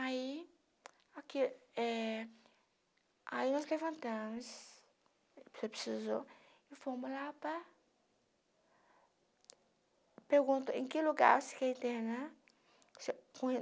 Aí hora que eh aí nós levantamos, porque precisou, e fomos lá para... Pergunto, em que lugar você quer internar?